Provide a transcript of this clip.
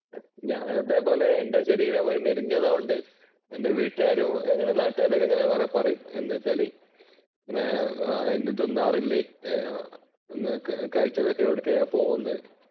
ഞാൻ അതേപോലെ എന്‍റെ ശരീരം മെലിഞ്ഞതായത് കൊണ്ട് എന്‍റെ വീട്ടുകാരും നാട്ടുകാരും ഒക്കെ ഇങ്ങനെ കുറെ പറയും. എന്താന്ന് വെച്ചാൽ ഒന്നും തിന്നാറില്ലേ? കഴിച്ചതൊക്കെ എവിടേക്കാ പോകുന്നത്?